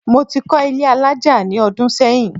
Mo ti kọ́ ilé alájà ní ọdún sẹ́yìn